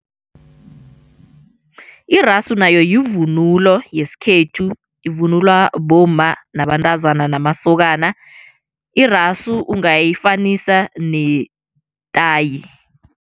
Irasu nayo yivunulo yesikhethu ivunulwa bomma nabantazana namasokana irasu ungayifanisa netayi.